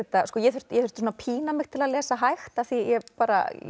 ég þurfti ég þurfti að pína mig til að lesa hægt af því ég bara